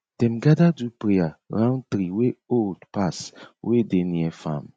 dem gather do prayer round tree wey old pass wey dey near farm